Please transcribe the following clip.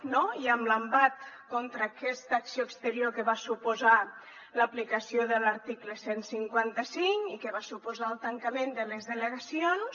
no i amb l’embat contra aquesta acció exterior que va suposar l’aplicació de l’article cent i cinquanta cinc i que va suposar el tancament de les delegacions